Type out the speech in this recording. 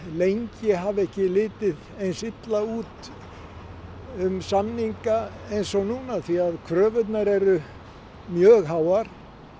lengi hafi ekki litið eins illa út um samninga eins og núna því að kröfurnar eru mjög háar